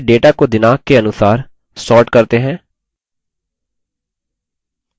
चलिए data को दिनाँक के अनुसार sort करते हैं